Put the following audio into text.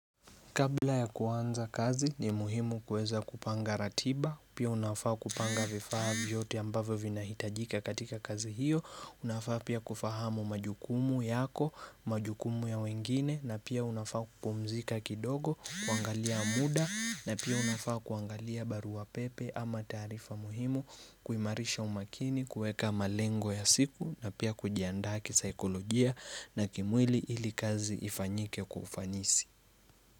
Kabla ya kuanza kazi ni muhimu kueza kupanga ratiba, pia unafaa kupanga vifaa yote ambave vina hitajika katika kazi hiyo, unafaa pia kufahamu majukumu yako, majukumu ya wengine, na pia unafaa kupumzika kidogo, kuangalia muda, na pia unafaa kuangalia barua pepe ama tarifa muhimu, kuimarisha umakini, kueka malengo ya siku, na pia kujiandaki saikolojia na kimwili ili kazi ifanyike kufanyisi.